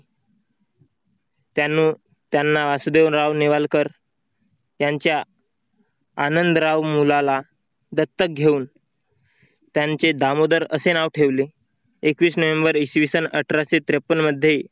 त्यांनी त्यांना वासुदेवराव नेवालकर यांच्या आनंदराव मुलाला दत्तक घेऊन, त्यांचे दामोदर असे नाव ठेवले एकवीस नोव्हेंबर इसवी सन अठराशेत्रेपन्न मध्ये